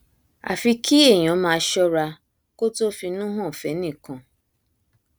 àfi kí èèyàn máa ṣọra kó tóó finú hàn fẹnì kan